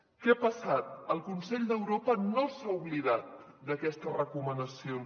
què ha passat el consell d’europa no s’ha oblidat d’aquestes recomanacions